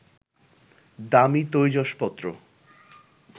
দামি তৈজসপত্র